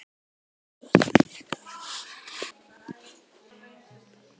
Ég fékk mér glas.